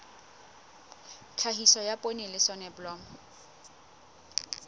tlhahiso ya poone le soneblomo